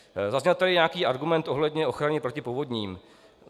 Zazněl tady nějaký argument ohledně ochrany proti povodním.